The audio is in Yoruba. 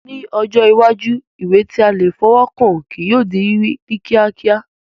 Ní ọjọ́ iwájú, ìwé tí a lè fọwọ́ kàn kí yóò di rírí ní kíákíá